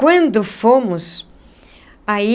Quando fomos aí,